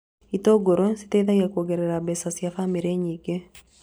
Itũngũrũ citeithagia kuongerera mbeca cia bamĩrĩ nyingĩ